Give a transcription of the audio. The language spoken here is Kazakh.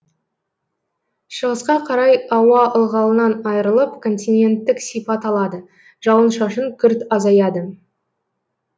шығысқа қарай ауа ылғалынан айырылып континенттік сипат алады жауын шашын күрт азаяды